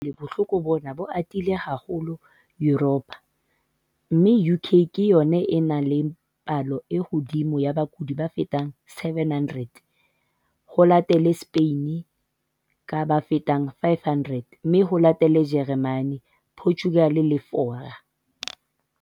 Hona jwale bohloko bona bo atile haholo Yuropa mme UK ke yona e nang le palo e hodimo ya bakudi ba fetang 700, ho latele Spain ka ba fetang 500 mme ho latele Jeremane, Portugal le Fora.